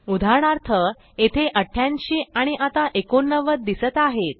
उदाहरणार्थ येथे 88 आणि आता 89 दिसत आहेत